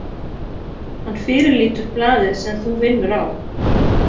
Hann fyrirlítur blaðið sem þú vinnur á.